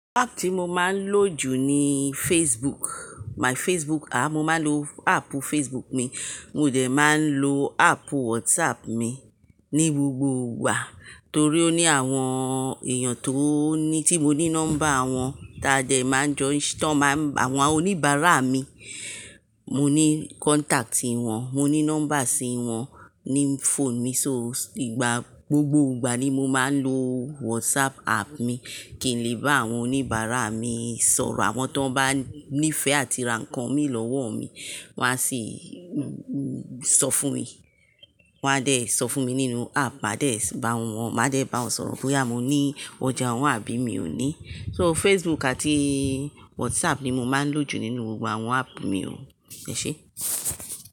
App tí mo máa ń lò jù ni Facebook, my Facebook. À, mo máa ń lo app Facebook mi, mo dẹ̀ máa ń lo app WhatsApp mi ní gbogbo ìgbà torí ó ní àwọn èèyàn tó ní tí mo ní nọ́mbà wọn táa dẹ̀ máa ń jo-- tí wọ́n máa ń, àwọn oníbàárà mi. Mo ní contact ìwọ̀n, mo ní nọ́mbà sí wọn ní phone mi, so ìgbà gbogbo ìgbà ni mo máa ń lo WhatsApp app mi. Kì í lè bá àwọn oníbàárà mi sọ̀rọ̀, àwọn tó bá nífẹ̀ẹ́ àti ra nǹkan mi lọ́wọ́ mi wọ́n á sì sọ fún mi. Wọ́n á dẹ̀ sọ fún mi nínú app, màá dẹ̀ bá wọn, màá jẹ̀ bá wọn sọ̀rọ̀ bóyá mo ní ọjà ọ̀hun àbí mi ò ní. So Facebook àti WhatsApp ni mo máa ń lò jù nínú gbogbo àwọn app mi o. Ẹ̀ ṣe?